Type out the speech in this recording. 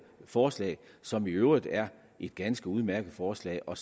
forslag som i øvrigt er et ganske udmærket forslag og